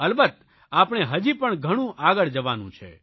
અલબત્ત આપણે હજી પણ ઘણું આગળ જવાનું છે